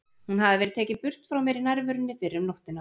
Hún hafði verið tekin burt frá mér í nærverunni fyrr um nóttina.